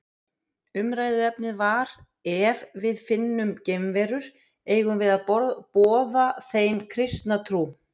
Umræðuefnið var Ef við finnum geimverur, eigum við að boða þeim kristna trú?